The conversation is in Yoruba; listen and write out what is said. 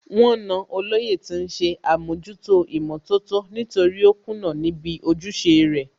Wọ́n na Olóyè tí ń ṣe àmójútó ìmọ̀tótó nítorí ó kùnà níbi ojúṣe rẹ̀